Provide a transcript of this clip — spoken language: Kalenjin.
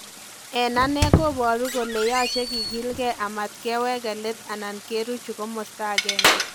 En ane kobaru kole yaache kigilge amatkeweke leet anan keruchi komasta agenge